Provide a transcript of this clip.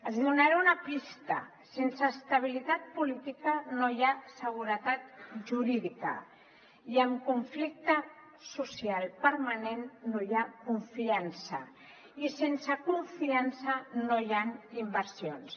els donaré una pista sense estabilitat política no hi ha seguretat jurídica i amb conflicte social permanent no hi ha confiança i sense confiança no hi han inversions